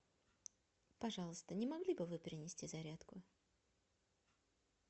пожалуйста не могли бы вы принести зарядку